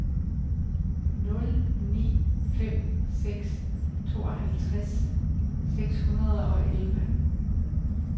nul ni fem seks tooghalvfjerds seks hundrede og elleve